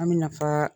An bɛ nafa